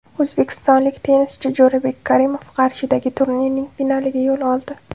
O‘zbekistonlik tennischi Jo‘rabek Karimov Qarshidagi turnirning finaliga yo‘l oldi.